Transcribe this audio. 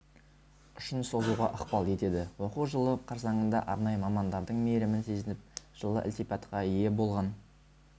ұшын созуға ықпал етеді оқу жылы қарсаңында арнайы мамандардың мейірімін сезініп жылы ілтипатқа ие болған